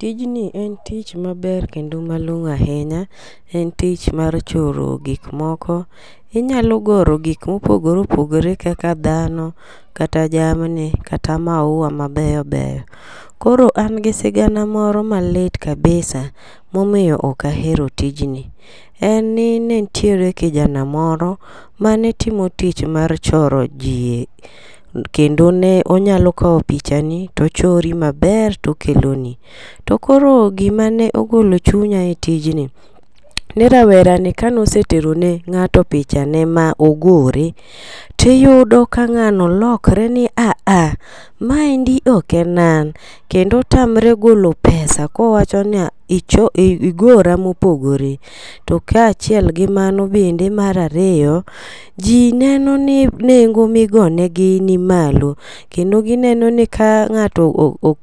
Tijni en tich maber kendo malong'o ahinya en tich mar choro gik moko. Inyalo goro gik mopogore opogore kaka dhano, kata jamni, kata maua mabeyo beyo. Koro an gi sigana moro malit kabisa momiyo ok ahero tijni. En ni ne ntiere kijana moro mane timo tijni mar choro jii kendo en onyalo kawo picha ni tochori maber tokelo ni. To koro gima ne ogolo chunya e tijni ni rawere ni kano setero ne ng'ato picha ne mogore, tiyudo ka ngano lokre ni haha ma endi ok en an kendo otamre golo pesa kowacho ni ichw igora mopogre. To kaachiel gi mano bende mar ariyo, jii neno ni nengo migone gi ni malo kendo gineno ni ka ng'ato